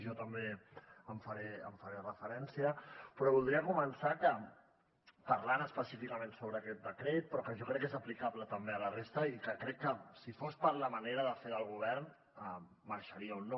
jo també hi faré referència però voldria començar parlant específicament sobre aquest decret però que jo crec que és aplicable també a la resta i que crec que si fos per la manera de fer del govern marxaria o no